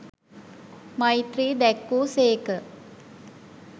මෛත්‍රීය දැක් වූ සේක.